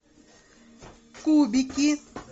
кубики